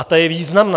A ta je významná.